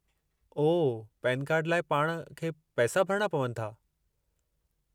ओह, PAN card लाइ पाणि खे पैसा भरणा पवनि था?